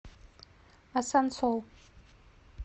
асансол